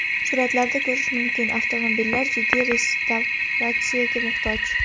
Suratlardan ko‘rish mumkin, avtomobillar jiddiy restavratsiyaga muhtoj.